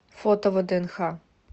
фото вднх